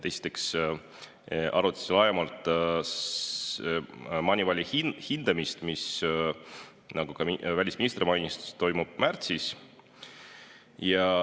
Esiteks arutasime laiemalt Moneyvali hindamist, mis, nagu ka välisminister mainis, toimub märtsis.